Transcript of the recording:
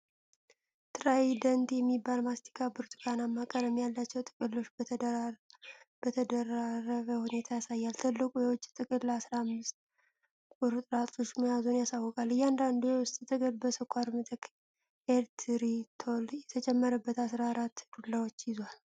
ትራይደንት የሚባል ማስቲካ ብርቱካናማ ቀለም ያላቸው ጥቅሎች በተደራረበ ሁኔታ ያሳያል። ትልቁ የውጭ ጥቅል አስራ አምስት (15) ቁርጥራጮች መያዙን ያሳውቃል። እያንዳንዱ የውስጥ ጥቅል በስኳር ምትክ ኤሪትሪቶል የተጨመረበት አስራ አራት (14) ዱላዎችን ይዟል።